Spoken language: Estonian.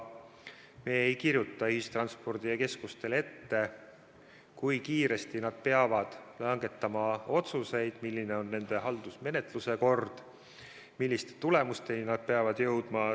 Me ei kirjuta ühistranspordikeskustele ette, kui kiiresti nad peavad langetama otsuseid, milline on nende haldusmenetluse kord ja milliste tulemusteni nad peavad jõudma.